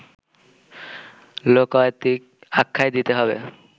লোকায়তিক আখ্যাই দিতে হবে